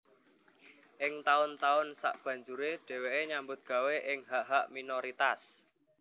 Ing taun taun sabanjuré dhèwèké nyambut gawé ing hak hak minoritas